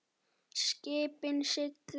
Skipin sigla.